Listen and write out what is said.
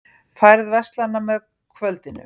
Færð versnar með kvöldinu